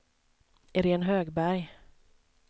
Iréne Högberg